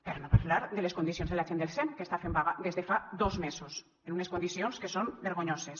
per no parlar de les condicions de la gent del sem que està fent vaga des de fa dos mesos en unes condicions que són vergonyoses